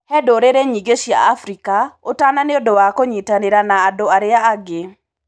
He ndũrĩrĩ nyingĩ cia Afrika ũtana nĩ ũndũ wa kũnyitanĩra na andũ arĩa angĩ.